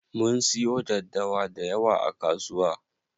Mun siyo daddawa dayawa a kasuwa.